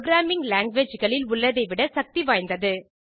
programming language களில் உள்ளதை விட சக்தி வாய்ந்தது